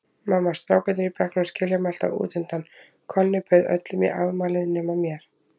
Mamma, strákarnir í bekknum skilja mig alltaf útundan, Konni bauð öllum í afmælið nema mér.